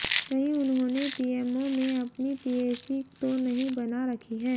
कहीं उन्होंने पीएमओ में अपनी पीएसी तो नहीं बना रखी है